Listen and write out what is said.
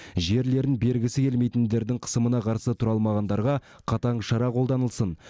жерлерін бергісі келмейтіндердің қысымына қарсы тұра алмағандарға қатаң шара қолданылсын